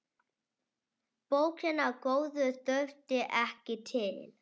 Bókina góðu þurfti ekki til.